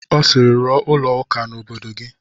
Ọ sịịrị, rụọ ụlọ ụka n'obodo gị!